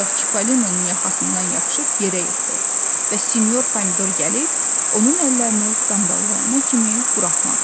Ancaq Çipalinonun yaxasından yapışıb yerə yığdı və sinyor pomidor gəlib onun əllərini qandallayana kimi buraxmadı.